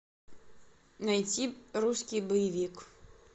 найти русский боевик